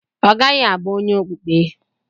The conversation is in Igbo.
Ọ gaghị abụ onye okpukpe.